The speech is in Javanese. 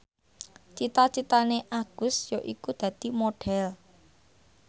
cita citane Agus yaiku dadi Modhel